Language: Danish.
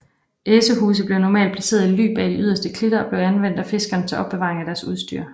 Esehuse blev normalt placeret i ly bag de yderste klitter og blev anvendt af fiskerne til opbevaring af deres udstyr